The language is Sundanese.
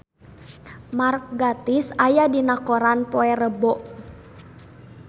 Mark Gatiss aya dina koran poe Rebo